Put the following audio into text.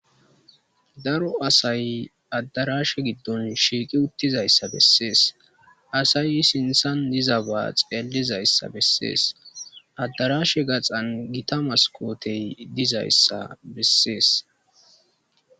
Daaro asay addarashe giddon shiiqi uttizayssa bessees asay sinthan dizabaa xeelizayssa bessees addarashe gaxan gita maskotey dizayssa bessees.